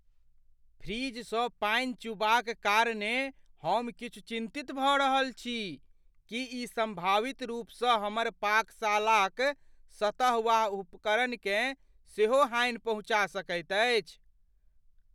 फ्रिजसँ पानि चूबाक कारणेँ हम किछु चिन्तित भऽ रहल छी, की ई सम्भावित रूपसँ हमर पाकशालाक सतह वा उपकरण केँ सेहो हानि पहुँचा सकैत अछि?